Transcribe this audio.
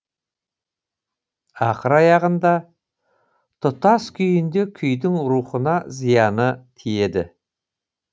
ақыр аяғында тұтас күйінде күйдің рухына зияны тиеді